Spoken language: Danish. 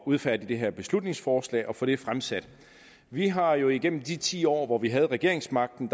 udfærdige det her beslutningsforslag og få det fremsat vi har jo igennem de ti år hvor vi havde regeringsmagten